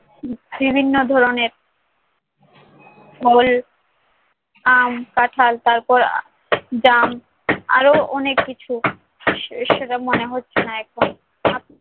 বিভিন্ন ধরনের ফল আম, কাঁঠাল তারপর জাম আরও অনেক কিছু সে~ সেটা মনে হচ্ছে না এখন, থাকুক